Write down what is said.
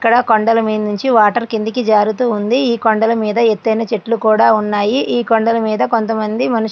ఇక్కడ కొండల మీద నుంచి వాటర్ కిందకి జారుతూ ఉంది. కొండల మీద ఎత్తైన చెట్లు కూడా ఉన్నాయి.